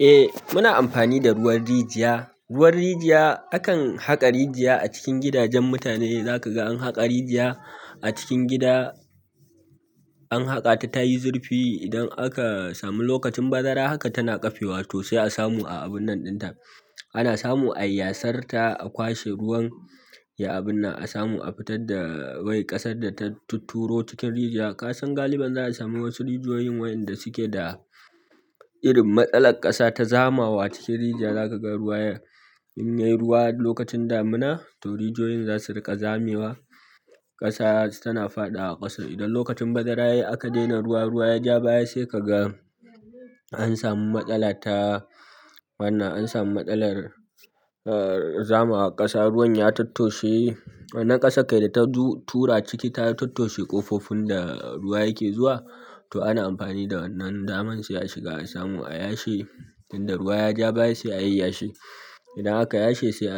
Eh muna amfani da ruwan rijiya, ruwan rijiya akan haƙa rijiya a cikin gidajen mutane za ka ga an haƙa rijiya a cikin gida an haƙa ta ta yi zurfi. Idan aka samu lokacin bazara haka tana ƙafe wa to sai a samu a abun nan dinta, ana samu ayi yasar ta, a kwashe ruwan ya abin nan a samu a fitar da wai ƙasar da ta turo cikin rijiya. Ka san galibin za a sami wasu rijiyoyin wayanda suke da irin matsalar ƙasa ta zamawa cikin rijiya. Za ka ga ruwa ya in yayi ruwa lokacin damina to rijiyoyin zasu riƙa zamewa ƙasa tana faɗa a ƙasa. Idan lokacin bazara ne aka daina ruwa, ruwa ya ja baya sai ka ga an samu matsala ta wannan an samu matsalar eh zamawa ƙasa ruwan ya tottoshe wannan ƙasa kai da ta tura ciki ta tattosi ƙofofin da ruwa yake zuwa. To ana amfani da wannan daman shi a shiga a samu a yashi. Inda ruwa ya ja baya sai a yayyyashe idan aka yashe sai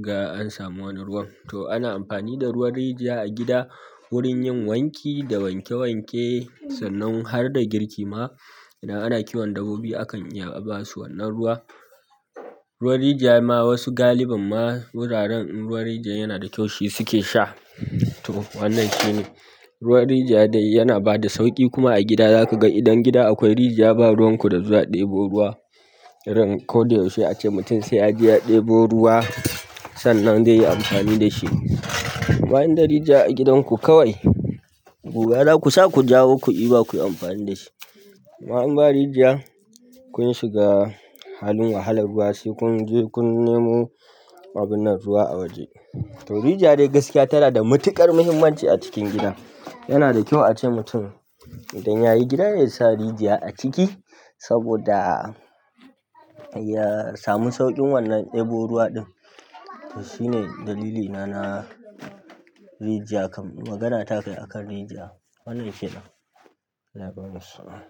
ga an samu wannan ruwan. To ana amfani da ruwan rijiya a gida wurin yin wanki da wanke wanke sannan har da girki ma idan ana kiwon dabbobi akan iya ba su wannan ruwa. Ruwan rijiya ma wasu galibin ma wuraren in ruwan rijiya yana da kyau shi suke sha. To wannan shine ruwan rijiya dai yana bada sauƙi kuma a gida za ka ga idan gida akwai rijiya ba ruwan ku da zuwa ɗebo ruwa. Dan kodayaushe ace mutum sai a je ya ɗebo ruwa sannan zai yi amfani da shi. Amma inda rijiya a gidanku kawai guga za ku sa ku jawo ku yi ba ku yi amfani da shi amma in ba rijiya kun shiga halin wahalar wasu kun je kun nemo abun nan ruwa a waje. To rijiya dai gaskiya tana da matuƙar muhimmanci a cikin gida. Yana da kyau ace mutum idan yayi gida, yasa rijiya a ciki saboda yasa mu sauƙin ɗebo ruwa ɗin shine dalili na rijiya akan, kai magana ta akan rijiya. Wannan kenan, Allah ya bamu sa'a.